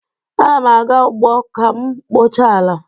Ana m aga ugbo ka m kpochaa ala